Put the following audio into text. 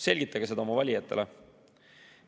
Selgitage seda oma valijatele.